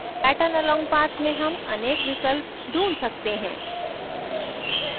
pattern along path में हम अनेक विकल्प ढूँढ सकते हैं